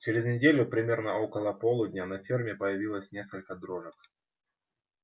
через неделю примерно около полудня на ферме появилось несколько дрожек